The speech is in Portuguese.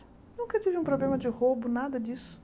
Nunca tive um problema de roubo, nada disso.